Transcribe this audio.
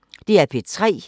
DR P3